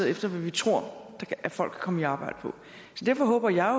efter hvad vi tror folk komme i arbejde på så derfor håber jeg